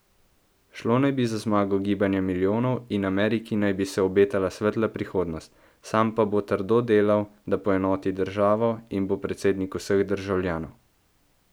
Šlo naj bi za zmago gibanja milijonov in Ameriki naj bi se obetala svetla prihodnost, sam pa bo trdo delal, da poenoti državo in bo predsednik vseh državljanov.